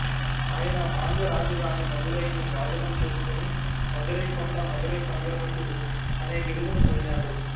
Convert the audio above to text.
ఆయన పాండ్య రాజధాని మదురైని స్వాధీనం చేసుకుని మదురైకొండ మదురై సంగ్రహకుడు అనే బిరుదును పొందాడు